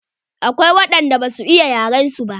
Akwai waɗan da ba su iya yaren su ba.